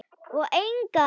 Og engan.